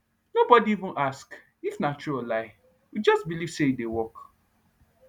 no body even ask if nah true or lie we just believe say e dey work